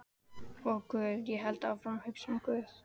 Og guð, ég hélt áfram að hugsa um guð.